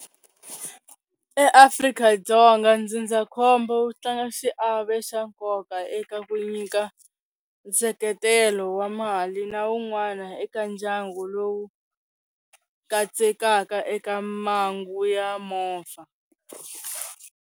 EAfrika-Dzonga ndzindzakhombo wu tlanga xiave xa nkoka eka ku nyika nseketelo wa mali na wun'wana eka ndyangu lowu katsekaka eka mangu ya movha.